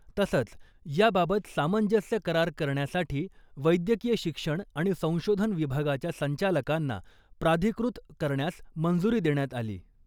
तसंच , याबाबत सामंजस्य करार करण्यासाठी वैद्यकीय शिक्षण आणि संशोधन विभागाच्या संचालकांना प्राधिकृत करण्यास मंजुरी देण्यात आली .